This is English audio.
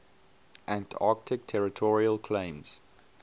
antarctic territorial claims